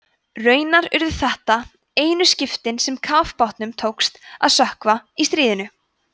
raunar urðu þetta einu skipin sem kafbátnum tókst að sökkva í stríðinu